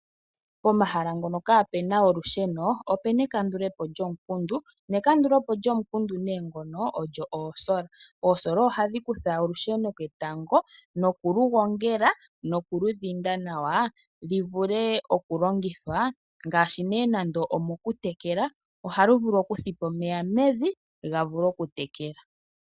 Pomahala ngono kapu na olusheno opu na ekandulopo lyomukundu ne kandulopo lyomukundu nee ngono olyo oosola. Oosola ohadhi kutha olusheno ketango nokuligongela nokulidhinda nawa li vule okulongithwa ngaashi mokutekela ohalu vulu okuthipa omeya mevi ga vule okutekela.